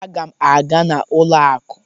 Aga m aga n'ụlọ akụ.